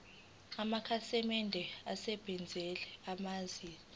amakhasimende asebenzisa amanzi